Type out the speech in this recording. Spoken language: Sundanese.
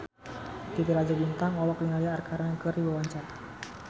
Titi Rajo Bintang olohok ningali Arkarna keur diwawancara